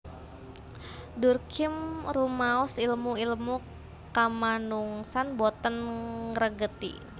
Durkheim rumaos ilmu ilmu kamanungsan boten ngregeti